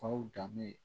Faw danbe ye